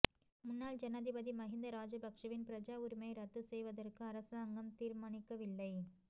முன்னாள் ஜனாதிபதி மஹிந்த ராஜபக்ஷவின் பிரஜா உரிமையை இரத்துச் செய்வதற்கு அரசாங்கம் தீர்மானிக்கவில்லை